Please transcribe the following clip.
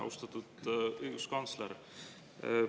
Austatud õiguskantsler!